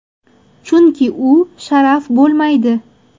Chunki u sharaf bo‘lmaydi.